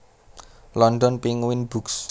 London Penguin Books